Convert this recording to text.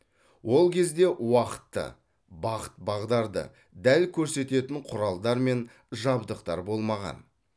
ол кезде уақытты бағыт бағдарды дәл көрсететін құралдар мен жабдықтар болмаған